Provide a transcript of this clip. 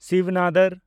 ᱥᱤᱵᱽ ᱱᱟᱫᱚᱨ